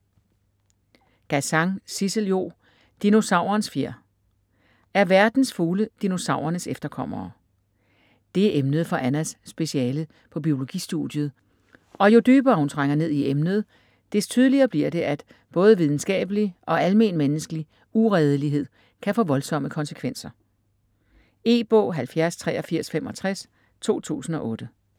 Gazan, Sissel-Jo: Dinosaurens fjer Er verdens fugle dinosaurernes efterkommere? Det er emnet for Annas speciale på biologistudiet, og jo dybere hun trænger ned i emnet, des tydeligere bliver det, at både videnskabelig og almenmenneskelig uredelighed kan få voldsomme konsekvenser. E-bog 708365 2008.